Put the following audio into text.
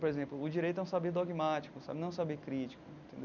Por exemplo, o direito é um saber dogmático sabe, não é um saber crítico entendeu.